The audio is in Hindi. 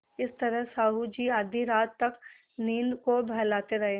इस तरह साहु जी आधी रात तक नींद को बहलाते रहे